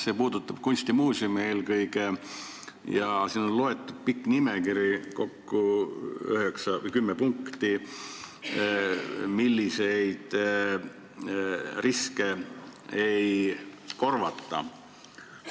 See puudutab eelkõige kunstimuuseumi ja siin on pikk nimekiri – kokku kümme punkti –, milliseid riske ei korvata.